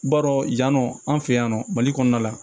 B'a dɔn yan nɔ an fɛ yan nɔ mali kɔnɔna la